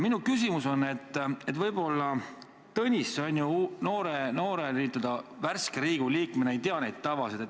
Võib-olla Tõnis noore, n-ö värske Riigikogu liikmena ei tea neid tavasid.